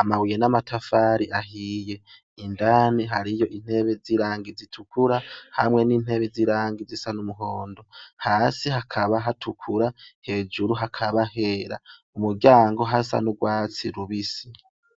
amabuye n'amatafari ahiye. Indani hariyo intebe z'irangi zitukura hamwe n'intebe z'irangi risa n'umuhondo. Hasi hakaba hatukura hejuru hakaba hera. Ku muryango hasa n'urwatsi rubisi.